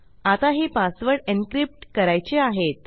आता हे password encrypt करायचे आहेत